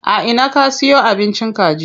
A ina ka siyo abincin kaji?